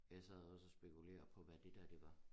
Jeg sad også og spekulerer på hvad det dér det var